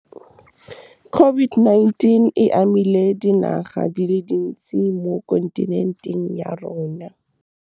COVID-19 e amile dinaga di le dintsi mo kontinenteng ya rona. COVID-19 e amile dinaga di le dintsi mo kontinenteng ya rona.